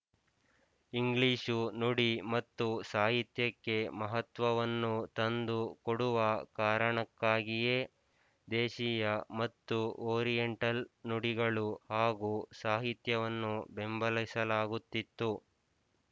English ನುಡಿ ಮತ್ತು ಸಾಹಿತ್ಯಕ್ಕೆ ಮಹತ್ವವನ್ನು ತಂದು ಕೊಡುವ ಕಾರಣಕ್ಕಾಗಿಯೇ ದೇಶೀಯ ಮತ್ತು ಓರಿಯಂಟಲ್ ನುಡಿಗಳು ಹಾಗೂ ಸಾಹಿತ್ಯವನ್ನು ಬೆಂಬಲಿಸಲಾಗುತಿತ್ತು